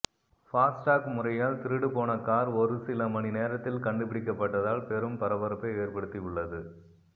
FASTag முறையால் திருடு போன கார் ஒரு சில மணி நேரத்தில் கண்டுபிடிக்கப்பட்டதால் பெரும் பரபரப்பை ஏற்படுத்தி உள்ளது